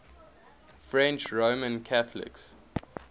french roman catholics